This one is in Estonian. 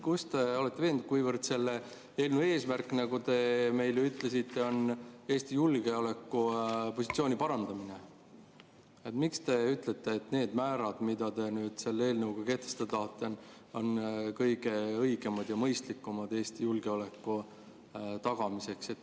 Kuivõrd selle eelnõu eesmärk, nagu te ütlesite, on Eesti julgeolekupositsiooni parandamine, siis miks te ütlete, et need määrad, mida te selle eelnõuga kehtestada tahate, on kõige õigemad ja mõistlikumad Eesti julgeoleku tagamiseks?